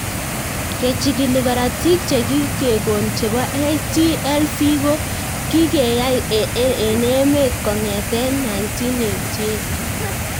Kechigil karatik che kikekon chepo HTLV ko kikeyai eng' emet kong'ete 1988